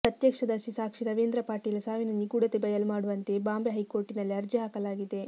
ಪ್ರತ್ಯಕ್ಷದರ್ಶಿ ಸಾಕ್ಷಿ ರವೀಂದ್ರ ಪಾಟೀಲ್ ಸಾವಿನ ನಿಗೂಢತೆ ಬಯಲು ಮಾಡೂವಂತೆ ಬಾಂಬೆ ಹೈಕೋರ್ಟಿನಲ್ಲಿ ಅರ್ಜಿ ಹಾಕಲಾಗಿದೆ